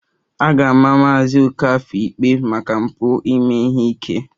A ga-ama Maazị Okafor ikpe maka mpụ ime ihe ike